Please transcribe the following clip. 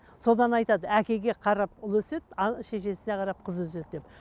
содан айтады әкеге қарап ұл өседі ал шешесіне қарап қыз өседі деп